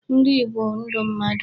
Nri bụ ndụ mmadụ.